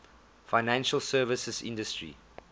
financial services industry